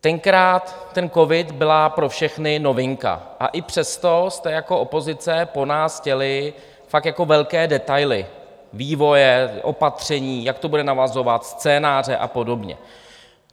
Tenkrát ten covid byla pro všechny novinka, a i přesto jste jako opozice po nás chtěli fakt jako velké detaily - vývoje, opatření, jak to bude navazovat, scénáře a podobně.